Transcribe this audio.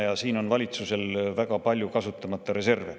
Ja siin on valitsusel väga palju kasutamata reserve.